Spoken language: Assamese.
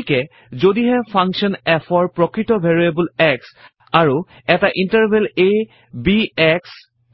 গতিকে যদিহে ফাংকশ্যন f -ৰ প্ৰকৄত ভেৰিয়েবল x আৰু এটা ইণ্টাৰভেল আ b x